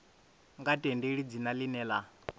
nga tendeli dzina ḽine ḽa